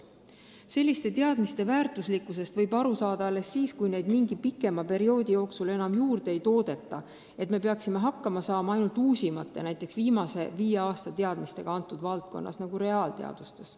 Selliste teadmiste väärtuslikkusest võib aru saada alles siis, kui neid mingi pikema perioodi jooksul enam juurde ei toodeta, kui me peaksime hakkama saama ainult uusimate, näiteks viimasel viie aastal omandatud teadmistega konkreetses valdkonnas, näiteks mõnes reaalteaduses.